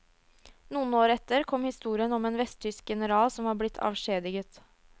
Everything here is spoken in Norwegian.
Noen år etter kom historien om en vesttysk general som var blitt avskjediget.